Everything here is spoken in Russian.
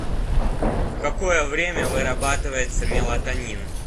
в какое время вырабатывается мелатонин